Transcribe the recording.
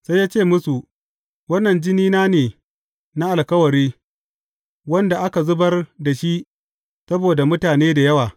Sai ya ce musu, Wannan jinina ne na alkawari, wanda aka zubar da shi saboda mutane da yawa.